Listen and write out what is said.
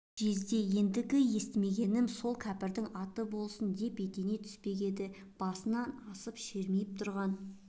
жезде ендігі жерде естімегенім сол кәпірдің аты болсын деп ете түспек еді басынан асып шермиіп тұрған